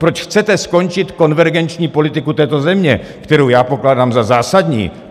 Proč chcete skončit konvergenční politiku této země, kterou já pokládám za zásadní?